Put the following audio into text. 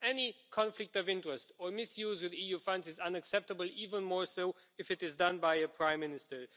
Any conflict of interests or misuse of EU funds is unacceptable even more so if it is done by a prime minister.